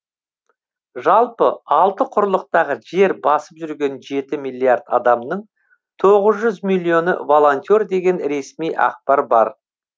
жалпы алты құрлықтағы жер басып жүрген жеті миллиард адамның тоғыз жүз миллионы волонтер деген ресми ақпар бар